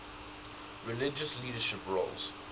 religious leadership roles